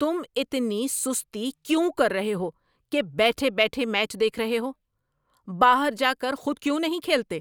تم اتنی سستی کیوں کر رہے ہو کہ بیٹھ بیٹھے میچ دیکھ رہے ہو؟ باہر جا کر خود کیوں نہیں کھیلتے؟